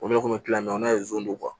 O de kun mi kila na